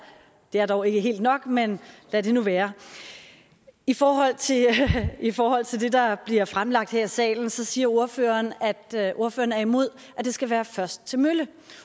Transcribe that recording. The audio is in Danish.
det er dog ikke helt nok men lad det nu være i forhold i forhold til det der bliver fremlagt her i salen siger ordføreren at ordføreren er imod at det skal være først til mølle